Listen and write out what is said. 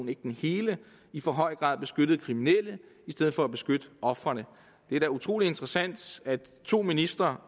ikke den hele i for høj grad beskyttede kriminelle i stedet for at beskytte ofrene det er da utrolig interessant at to ministre